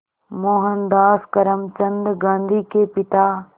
मोहनदास करमचंद गांधी के पिता